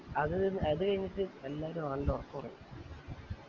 അത് അത് കൈഞ്ഞിട്ട് എല്ലാരും ആണ്ട ഒറക്കം ഒറങ്ങി